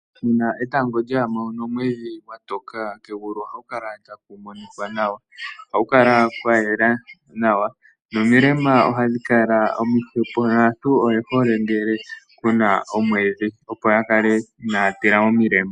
Uuna etango lya ningine nomwedhi gwatoka kegulu ohaku kala taku monika nawa nomilema ohadhi kala omihwepo yo aantu oye hole ngele kuna omweedhi opo yakale inaya tila omilema.